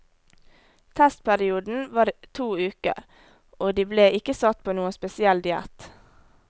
Testperioden var to uker, og de ble ikke satt på noen spesiell diett.